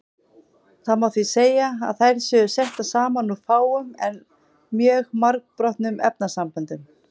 Það má því segja að þær séu settar saman úr fáum en mjög margbrotnum efnasamböndum.